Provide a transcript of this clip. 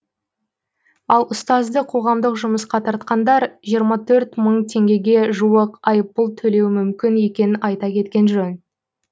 ал ұстазды қоғамдық жұмысқа тартқандар жиырма төрт мың теңгеге жуық айыппұл төлеуі мүмкін екенін айта кеткен жөн